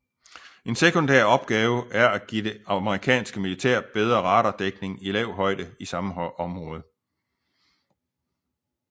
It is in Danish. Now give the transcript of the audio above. En sekundær opgave er at give det amerikanske militær bedre radardækning i lav højde i samme område